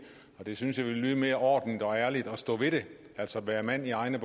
jeg synes det ville lyde mere ordentligt og ærligt at stå ved det altså være mand i egne